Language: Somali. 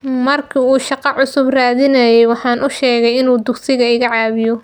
Markii uu shaqo cusub raadinayay waxaan u sheegay inuu dugsiga iga caawiyo.